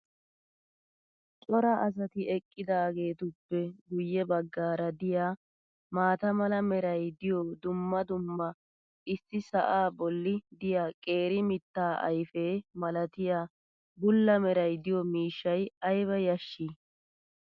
cora asati eqqidaageetuppe guye bagaara diya maata mala meray diyo dumma dumma issi sa"aa boli diya qeeri mitaa ayfe malatiya bula meray diyo miishshay ayba yashii!